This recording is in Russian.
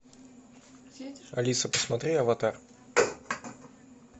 алиса посмотри аватар